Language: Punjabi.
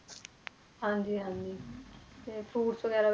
ਹਾਂਜੀ ਹਾਂਜੀ ਤੇ fruits ਵਗ਼ੈਰਾ